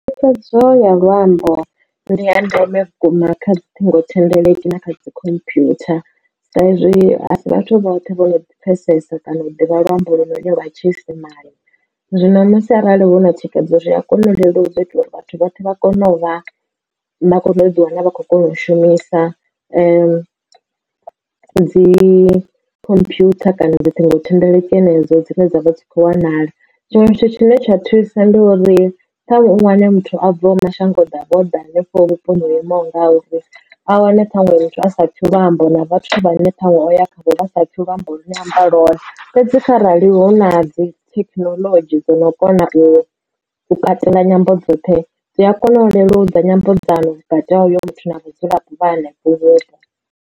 Thikhedzo ya luambo ndi ya ndeme vhukuma kha dzi ṱhingo thendeleki na kha dzi computer, sa izwi asi vhathu vhoṱhe vho no pfesesa kana u ḓivha luambo lone lwa tshiisimane. Zwino musi arali hu na thikhedzo zwi a kona u leludza u itela uri vhathu vhoṱhe vha kone u vha vha kone u ḓi wana vha khou kona u shumisa dzi computer kana dzi ṱhingo thendeleki henedzo dzine dzavha dzi kho wanala. Tshiṅwe tshithu tshine tsha thusa ndi uri ṱhaṅwe u wane muthu a bvaho mashango ḓavha o ḓa hanefho vhuponi ho imaho ngauri a wane ṱhaṅwe muthu a sa pfhi luambo na vhathu vha ne ṱhanwe o ya khavho vha sa pfhi luambo lu ne a amba lwone fhedzi arali hu na dzi thekinoḽodzhi dzo no kona u katela nyambo dzoṱhe dzi a kona u leludza nyambedzano vhukati ha uyo muthu na vhadzulapo vha hanefho.